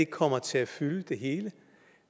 kommer til at fylde det hele